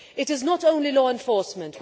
It is not only law enforcement.